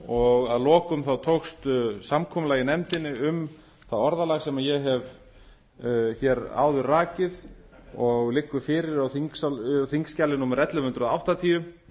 og að lokum þá tókst samkomulag í nefndinni um það orðalag sem ég hef hér áður rakið og liggur fyrir á þingskjali númer ellefu hundruð áttatíu